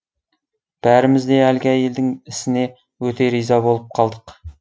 бәріміз де әлгі әйелдің ісіне өте риза болып қалдық